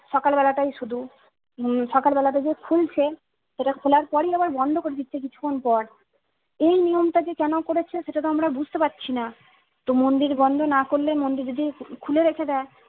সকাল বেলাটাই শুধু উম সকাল বেলাতে যে খুলছে সেটা খুলার পরিই আবার বন্ধ করে দিচ্ছে কিছুক্ষন পর এ নিয়ম টা যে কেনো করেছে সেটাতো আমরা বুঝতে পারছিনা। তো মন্দির বন্ধ না করলে মন্দির যদি খুলে রেখে দেয়